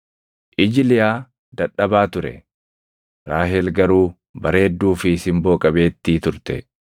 Iji Liyaa dadhabaa ture; Raahel garuu bareedduu fi simboo qabeettii turte.